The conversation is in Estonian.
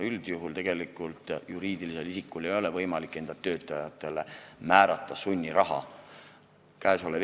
Üldjuhul ei ole juriidilisel isikul võimalik enda töötajatele sunniraha määrata.